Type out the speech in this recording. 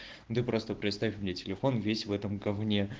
ну ты просто представь у меня телефон весь в этом говне